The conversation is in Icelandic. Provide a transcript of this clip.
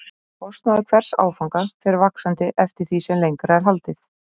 Kostnaður hvers áfanga fer vaxandi eftir því sem lengra er haldið.